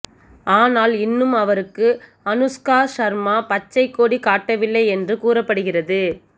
ஆனால் இன்னும் அவருக்கு அனுஷ்கா ஷர்மா பச்சை கொடி காட்டவில்லை என்று கூறப்படுகிறது